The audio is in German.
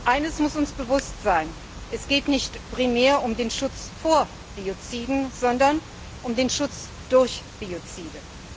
Eines muss uns bewusst sein Es geht nicht primär um den Schutz vor Bioziden, sondern um den Schutz durch Biozide.